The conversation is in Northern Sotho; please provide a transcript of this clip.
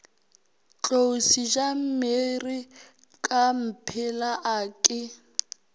tlou sejamere kamphela a ke